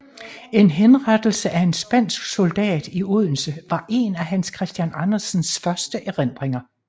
En henrettelse af en spansk soldat i Odense var en af Hans Christian Andersens første erindringer